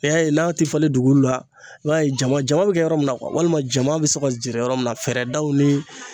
I y'a ye n'a tɛ falen dugukolo la i b'a ye jama bɛ kɛ yɔrɔ min na walima jama bɛ se ka jɛɛrɛ yɔrɔ min na fɛɛrɛdaw ni